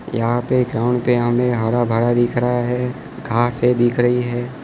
यहां पे ग्राउंड पे हमें हरा भरा दिख रहा है घासें दिख रही है।